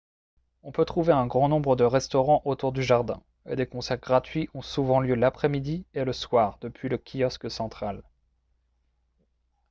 on peut trouver un grand nombre de restaurants autour du jardin et des concerts gratuits ont souvent lieu l'après-midi et le soir depuis le kiosque central